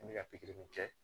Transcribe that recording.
N bɛ ka pikiri kɛ